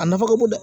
A nafa ka bon dɛ